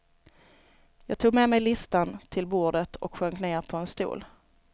Jag tog med mig listan till bordet och sjönk ner på en stol.